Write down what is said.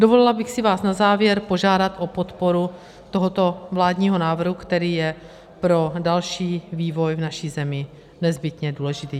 Dovolila bych si vás na závěr požádat o podporu tohoto vládního návrhu, který je pro další vývoj v naší zemi nezbytně důležitý.